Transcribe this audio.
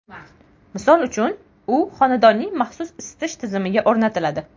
Misol uchun, u xonadonning maxsus isitish tizimiga o‘rnatiladi.